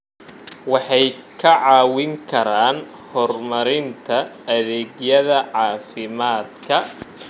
Waxay kaa caawin karaan horumarinta adeegyada caafimaadka.